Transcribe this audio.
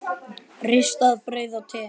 Ristað brauð og te.